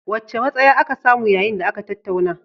Wacce matsaya aka samu yayin da aka tattauna?